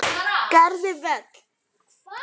Gerði vel.